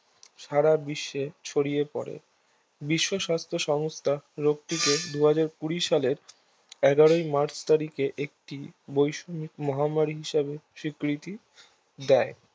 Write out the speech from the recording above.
সারা বিশ্বে ছড়িয়ে পরে বিশ্ব স্বাস্থ্য সংস্থা রোগটিকে দুহাজার কুড়ি সালে এগারোই মার্চ তারিখে একটি বৈশ্বিক মহামারী হিসাবে স্বীকৃতি দেয়